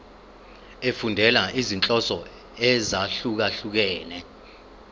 efundela izinhloso ezahlukehlukene